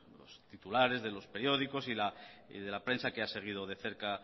los titulares de los periódicos y de la prensa que ha seguido de cerca